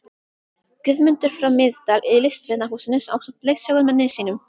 Guðmundar frá Miðdal í Listvinahúsinu ásamt leiðsögumanni sínum.